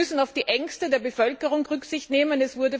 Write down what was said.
Wir müssen auf die Ängste der Bevölkerung Rücksicht nehmen.